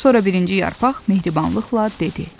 Sonra birinci yarpaq mehribanlıqla dedi: